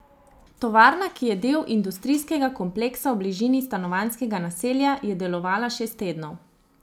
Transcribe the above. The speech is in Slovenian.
Tovarna, ki je del industrijskega kompleksa v bližini stanovanjskega naselja, je delovala šest tednov.